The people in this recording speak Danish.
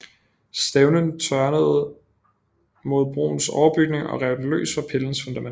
Stævnen tørnede mod broens overbygning og rev den løs fra pillens fundament